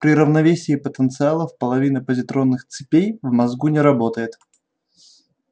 при равновесии потенциалов половина позитронных цепей в мозгу не работает